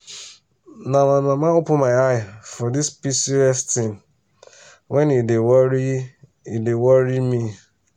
na my mama open my eye for this pcos thing when e dey worry e dey worry me.